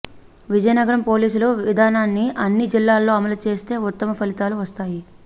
విజగనగరం పోలీసుల విధానాన్ని అన్ని జిల్లాల్లో అమలుచేస్తే ఉత్తమ ఫలితాలు వస్తాయి